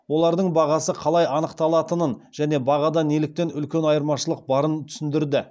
олардың бағасы қалай анықталатынын және бағада неліктен үлкен айырмашылық барын түсіндірді